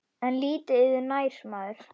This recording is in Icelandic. En lítið yður nær maður.